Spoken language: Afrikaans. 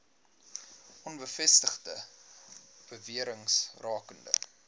onbevestigde bewerings rakende